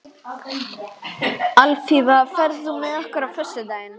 Alfífa, ferð þú með okkur á föstudaginn?